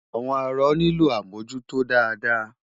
Àwọn arọ nílò àmújútó dáadáa.